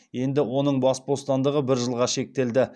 енді оның бас бостандығы бір жылға шектелді